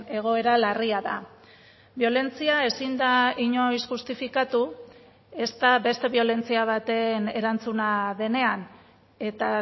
egoera larria da biolentzia ezin da inoiz justifikatu ezta beste biolentzia baten erantzuna denean eta